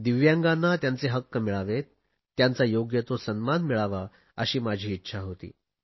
दिव्यांगांना त्यांचे हक्क मिळावेत त्यांचा योग्य तो सन्मान मिळावा अशी माझी इच्छा होती